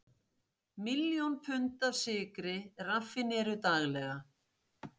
Miljón pund af sykri raffíneruð daglega.